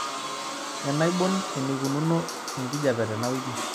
enaibon eneikununo enkijiape tenawiki